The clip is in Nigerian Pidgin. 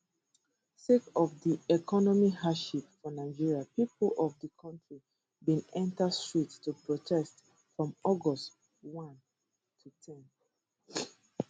sake of di economic hardship for nigeria pipo of di kontri bin enta streets to protest from august 1 to 10